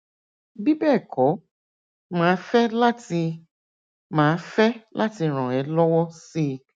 bí bẹẹ kọ màá fẹ láti màá fẹ láti ràn ẹ lọwọ síi